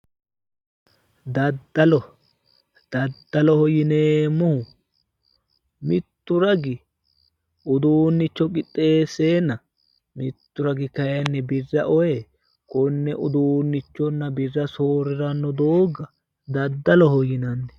Daddalo. Daddaloho yineemmohu mittu ragi uduunnicho qixxeesseenna mittu ragi kayinni birra ee konne uduunnichonna birra soorriranno doogga daddaloho yinanni